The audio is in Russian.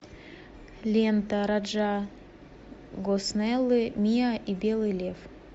лента раджа госнеллы мия и белый лев